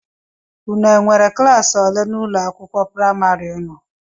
Ụnụ nwèrè ụlọ klaasi ole n'ụlọ akwụkwọ praịmarị ụnụ?